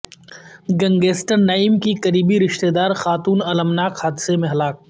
gangster Naeem کی قریبی رشتہ دار خاتون المناک حادثہ میں ہلاک